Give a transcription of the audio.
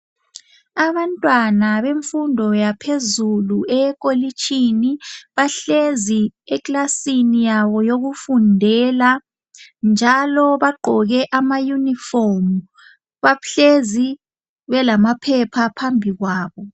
Abantwana bemfundo yaphezulu eyekolitshini bahlezi ekilasini yabo eyokufundela njalo bagqoke ama uniform. Bahlezi belamaphepha phambi kwabo.